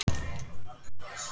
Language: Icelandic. Sveitin sleppti tökum.